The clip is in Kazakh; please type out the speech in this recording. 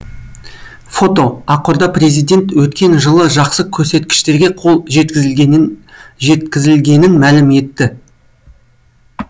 фото акорда президент өткен жылы жақсы көрсеткіштерге қол жеткізілгенін жеткізілгенін мәлім етті